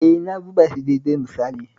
E, na zuba shi daidai misali